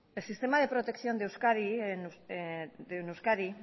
el sistema de protección de euskadi